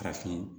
Farafin